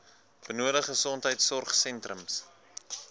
benodig gesondheidsorg sentrums